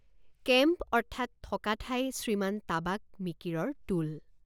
Camp অৰ্থাৎ থকা ঠাই শ্ৰীমান তাবাক মিকিৰৰ টোল।